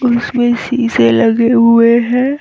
और इसमें शीशे लगे हुए है।